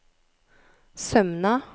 Sømna